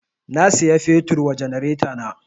Na saya fetur wa janaretana